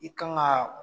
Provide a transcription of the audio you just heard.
I kan ka